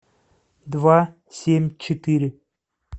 два семь четыре